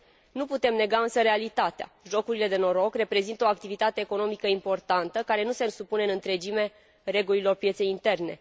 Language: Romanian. Nu putem nega însă realitatea jocurile de noroc reprezintă o activitate economică importantă, care nu se supune în întregime regulilor pieței interne.